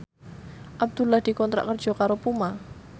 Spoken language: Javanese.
Abdullah dikontrak kerja karo Puma